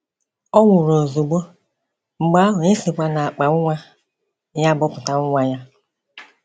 Ọ nwụrụ ozugbo, mgbe ahụ e sikwa n’akpa nwa ya bọpụta nwa ya.